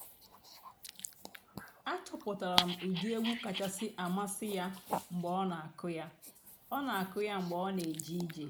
um ó kwùrú ụ́dị́ ègwú kàchàsị́ àmásị́ um yá mg̀bé um ọ́ nà-èmè ǹchọ́ghàrị́ nà àhị́á ìzú ụ́kà.